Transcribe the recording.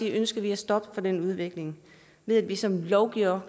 ønsker vi at stoppe den udvikling ved at vi som lovgivere